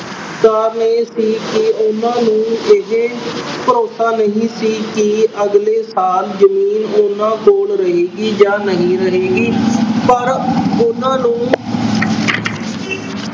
ਕਾਰਨ ਇਹ ਸੀ ਕਿ ਉਹਨਾਂ ਨੂੰ ਇਹ ਭਰੋਸਾ ਨਹੀਂ ਸੀ ਕਿ ਅਗਲੇ ਸਾਲ ਜ਼ਮੀਨ ਉਹਨਾਂ ਕੋਲ ਰਹੇਗੀ ਜਾਂ ਨਹੀਂ ਰਹੇਗੀ ਪਰ ਉਹਨਾਂ ਨੂੰ